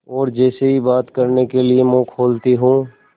और जैसे ही बात करने के लिए मुँह खोलती हूँ